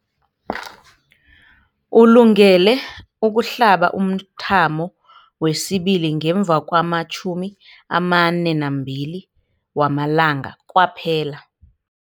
Ulungele ukuhlaba umthamo wesibili ngemva kwama-42 wamalanga kwaphela.